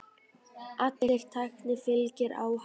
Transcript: Allri tækni fylgir áhætta.